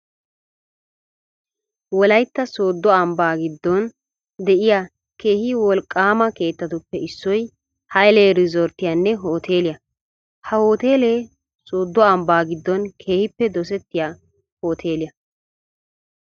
wollaytta sooddo ambbaa giddon de'yaa keehi wolqqaama keettatuppe issoy Haylee rizotirttiyaanne hooteliyaa. Ha hoteelee sooddo ambbaa giddon keehippe dosettiyaa hoteliyaa.